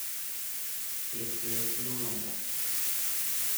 Šest let lulamo.